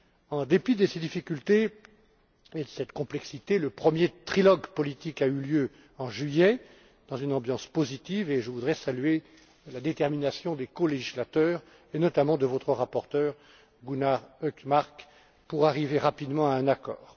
En dépit de ces difficultés et de cette complexité, le premier trilogue politique a eu lieu en juillet dans une ambiance positive, et je voudrais saluer la détermination des colégislateurs, et notamment de votre rapporteur, Gunnar Hökmark, pour arriver rapidement à un accord.